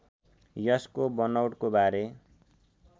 यसको बनौटको बारे